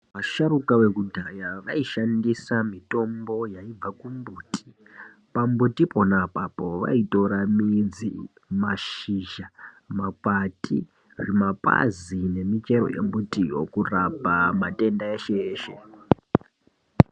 Vasharuka vekudhaya vaishandisa mitombo yaibva pamumbuti. Pambuti pona apapo vaitora midzi, mashisha, makwati, zvimapazi nemichero yembutiyo kurapa matenda eshe eshe.